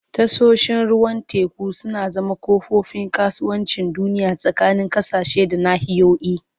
Tashoshin ruwan teku suna zama kofofin kasuwancin duniya tsakanin ƙasashe da nahiyoyi.